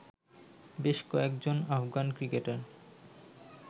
বেশ কয়েকজন আফগান ক্রিকেটার